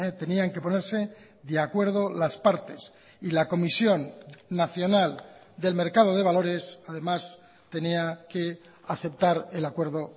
tenían que ponerse de acuerdo las partes y la comisión nacional del mercado de valores además tenía que aceptar el acuerdo